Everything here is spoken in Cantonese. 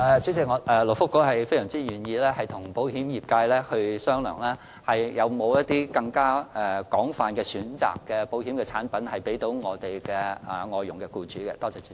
主席，勞工及福利局非常願意與保險業界商量，能否推出一些有更廣泛選擇的保險產品供外傭的僱主選購。